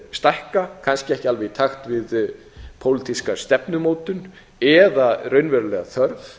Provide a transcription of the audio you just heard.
stækka kannski ekki alveg í takt við pólitíska stefnumótun eða raunverulega þörf